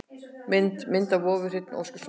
Myndir: Mynd af vofu: Hreinn Óskarsson.